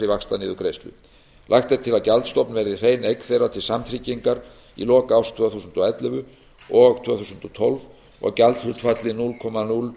vaxtaniðurgreiðslu lagt er til að gjaldstofn verði hrein eign þeirra til samtryggingar í lok árs tvö þúsund og ellefu og tvö þúsund og tólf og gjaldhlutfallið núll komma núll